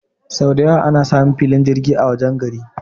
sau dayawa ana samun filin jirgi a wajen gari